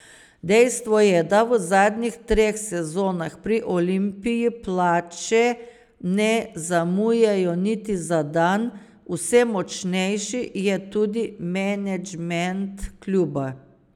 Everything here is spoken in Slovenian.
Dejstvo je, da v zadnjih treh sezonah pri Olimpiji plače ne zamujajo niti za dan, vse močnejši je tudi menedžment kluba.